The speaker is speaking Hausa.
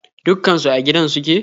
Dukkan su a gidan suke?